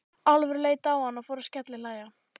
Álfur leit á hann og fór að skellihlæja.